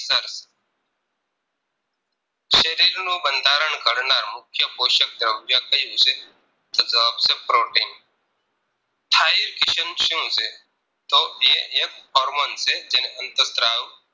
શરીરનું બંધારણ ઘડનાર મુખ્ય પોષક દ્રવ્ય કયું છે તો જવાબ છે protein Thair Kisan શું છે તો એ એક ફોર્મ્ન છે જેને અંતર સ્ત્રાવ